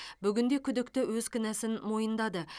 бүгінде күдікті өз кінәсін мойындады